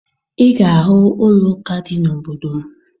Ị ga-ahụ ụlọụka dị n'obodo m